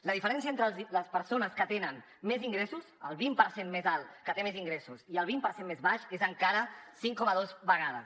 la diferència entre les persones que tenen més ingressos el vint per cent més alt que té més ingressos i el vint per cent més baix és encara cinc coma dos vegades